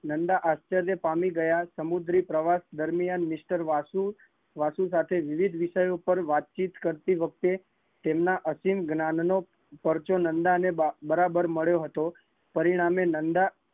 નંદા આશ્ચ્ર્ય પામી ગયા હતા, સામુદ્રીપ્રવાસ દરમિયાન મિસ્ટર વાસુ સાથે વિવિધ વિષય પર વાતચીત કરતી વખતે તેમના અતિજ્ઞાન નો પરચો નંદાને બરાબર મળ્યો હતો